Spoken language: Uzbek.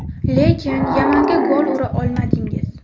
Lekin Yamanga gol ura olmadingiz.